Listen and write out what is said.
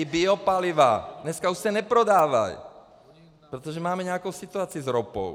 I biopaliva - dneska už se neprodávají, protože máme nějakou situaci s ropou.